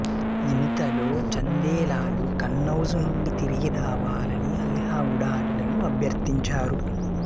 ఇంతలో చందేలాలు కన్నౌజు నుండి తిరిగి రావాలని అల్హా ఉడాలులను అభ్యర్థించారు